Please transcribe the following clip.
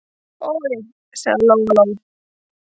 Oj, sagði Lóa-Lóa.